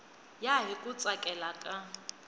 ya hi ku tsakela ka